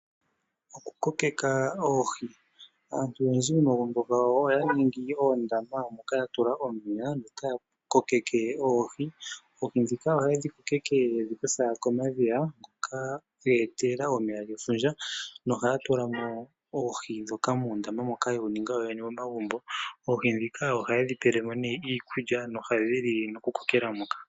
Okukokeka oohi . Aantu oyendji momagumbo oya ningi oondama moka ya tula omeya taya kokeke oohi. Oohi ndhika oha yedhi kokeke yedhi kutha komadhiya hoka dhe etelelwa komeya gefundja ,nohaya tulamo oohi ndhoka muundama moka yewu ninga yoyene momagumbo . Oohi ndhika ohaye dhipelemo iikulya nohadhili no ku kokela moka.